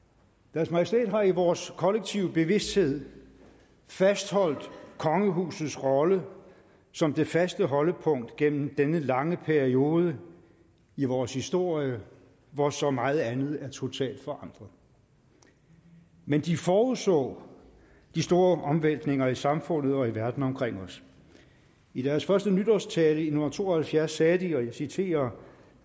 deres majestæt har i vores kollektive bevidsthed fastholdt kongehusets rolle som det faste holdepunkt gennem denne lange periode i vores historie hvor så meget andet er totalt forandret men de forudså de store omvæltninger i samfundet og i verden omkring os i deres første nytårstale i nitten to og halvfjerds sagde de og jeg citerer